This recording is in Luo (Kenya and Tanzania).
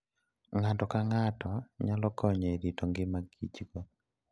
Ng'ato ka ng'ato nyalo konyo e rito ngima kichgo.